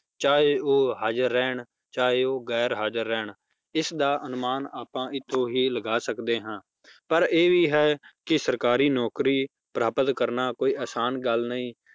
ਚਾਹੇ ਉਹ ਹਾਜ਼ਰ ਰਹਿਣ ਚਾਹੇ ਉਹ ਗੈਰ ਹਾਜ਼ਰ ਰਹਿਣ, ਇਸਦਾ ਅਨੁਮਾਨ ਆਪਾਂ ਇੱਥੋਂ ਹੀ ਲਗਾ ਸਕਦੇ ਹਾਂ, ਪਰ ਇਹ ਵੀ ਹੈ ਕਿ ਸਰਕਾਰੀ ਨੌਕਰੀ ਪ੍ਰਾਪਤ ਕਰਨਾ ਕੋਈ ਆਸਾਨ ਗੱਲ ਨਹੀਂ